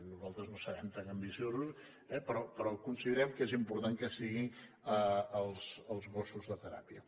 nosaltres no serem tan ambiciosos eh però considerem que és important que hi siguin els gossos de teràpia